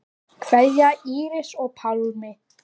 Kveðja, Íris og Pálmi.